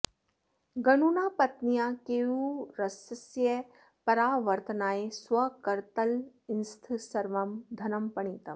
गणुना पत्न्याः केयूरस्य परावर्तनाय स्वकरतलस्थं सर्वं धनं पणितम्